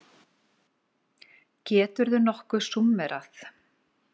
Geturðu nokkuð súmmerað?